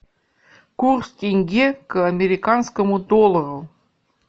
курс тенге к американскому доллару